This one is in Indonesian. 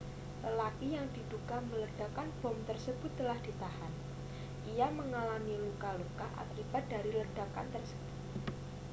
lelaki yang diduga meledakkan bom tersebut telah ditahan ia mengalami luka-luka akibat dari ledakan tersebut